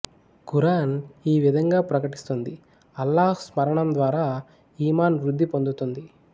ఖురాన్ ఈ విధంగా ప్రకటిస్తుంది అల్లాహ్ స్మరణం ద్వారా ఈమాన్ వృద్ధి పొందుతుంది